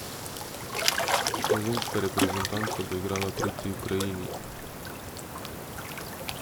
Slovenska reprezentanca bo igrala proti Ukrajini!